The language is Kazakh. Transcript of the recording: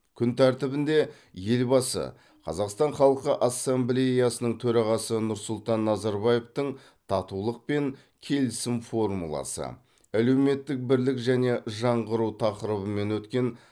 күн тәртібінде елбасы қазақстан халқы ассамблеясының төрағасы нұрсұлтан назарбаевтың татулық пен келісім формуласы әлеуметтік бірлік және жаңғыру тақырыбымен өткен